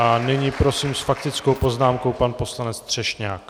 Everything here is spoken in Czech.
A nyní prosím s faktickou poznámkou pan poslanec Třešňák.